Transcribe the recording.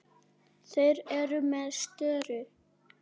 Þeir eru með störu.